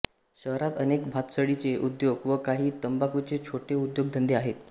शहरात अनेक भातसडीचे उद्योग व काही तंबाखूचे छोटे उद्योगधंदे आहेत